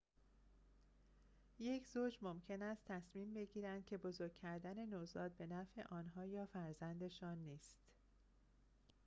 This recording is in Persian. یک زوج ممکن است تصمیم بگیرند که بزرگ کردن نوزاد به نفع آنها یا فرزندشان نیست